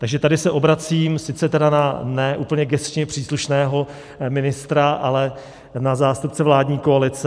Takže tady se obracím sice tedy na ne úplně gesčně příslušného ministra, ale na zástupce vládní koalice.